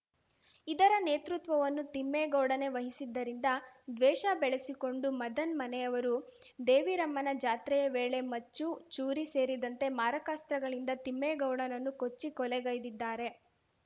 ಇದರ ನೇತೃತ್ವವನ್ನು ತಿಮ್ಮೇಗೌಡನೇ ವಹಿಸಿದ್ದರಿಂದ ದ್ವೇಷ ಬೆಳೆಸಿಕೊಂಡು ಮದನ್‌ ಮನೆಯವರು ದೇವಿರಮ್ಮನ ಜಾತ್ರೆಯ ವೇಳೆ ಮಚ್ಚು ಚೂರಿ ಸೇರಿದಂತೆ ಮಾರಕಾಸ್ತ್ರಗಳಿಂದ ತಿಮ್ಮೇಗೌಡನನ್ನು ಕೊಚ್ಚಿ ಕೊಲೆಗೈದಿದ್ದಾರೆ